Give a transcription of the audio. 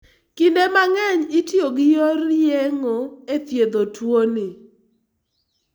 Kinde mang'eny itiyo gi yor yeng'o e thiedho tuoni.